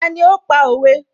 Ta ní ó pa òwe?